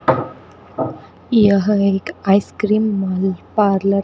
यह एक ice cream mall parlour --